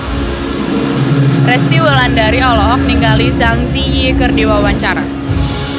Resty Wulandari olohok ningali Zang Zi Yi keur diwawancara